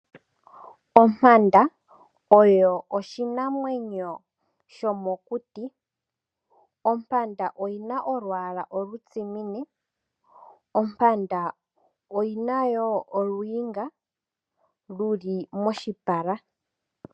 Ompanda oyo oshinamwenyo shomokuti. Ompanda oyina olwaala olutsimine. Ompanda oyina wo oluinga lu li moshipala.